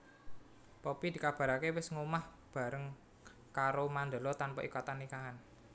Poppy dikabaraké wis nggomah bareng karo Mandala tanpa ikatan nikahan